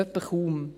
– Wohl kaum.